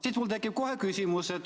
Siis mul tekib kohe küsimus.